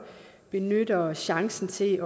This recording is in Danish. benytter chancen til